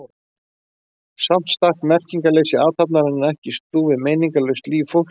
Samt stakk merkingarleysi athafnarinnar ekki í stúf við meiningarlaust líf fólksins.